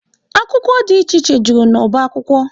Akwụkwọ dị iche iche jụrụ n'ọba akwụkwọ